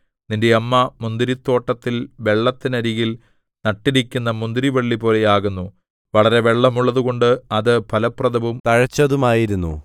നിന്റെ അമ്മ മുന്തിരിത്തോട്ടത്തിൽ വെള്ളത്തിനരികിൽ നട്ടിരിക്കുന്ന മുന്തിരിവള്ളിപോലെയാകുന്നു വളരെ വെള്ളം ഉള്ളതുകൊണ്ട് അത് ഫലപ്രദവും തഴച്ചതുമായിരുന്നു